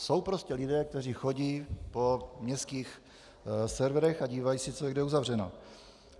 Jsou prostě lidé, kteří chodí po městských serverech a dívají se, co je kde uzavřeno.